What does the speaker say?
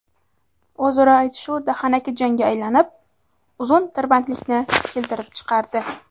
O‘zaro aytishuv dahanaki jangga aylanib, uzun tirbandlikni keltirib chiqardi.